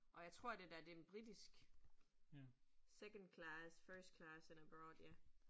Og jeg tror det der, den en britisk. Second class, first class and abroad